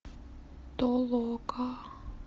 толока